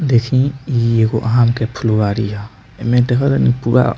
देखी इ एगो आम के फूलबारी ह एमे देख तानी पूरा --